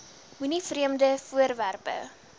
moenie vreemde voorwerpe